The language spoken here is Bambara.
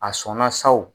A sɔnna saw